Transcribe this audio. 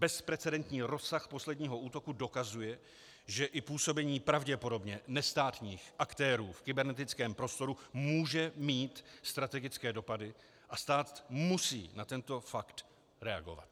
Bezprecedentní rozsah posledního útoku dokazuje, že i působení pravděpodobně nestátních aktérů v kybernetickém prostoru může mít strategické dopady, a stát musí na tento fakt reagovat.